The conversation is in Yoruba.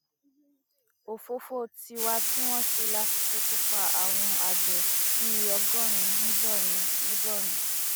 òfófó wa tí wọn ṣe la fi ṣekú pa àwọn àgbẹ bíi ọgọrin ní borno ní borno